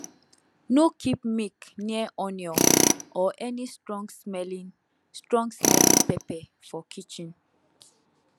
no keep milk near onion or any strongsmelling strongsmelling pepper for kitchen